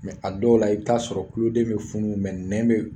Mɛ a dɔw la, i bɛ t'a sɔrɔ kuloden bɛ funu mɛ nɛn bɛ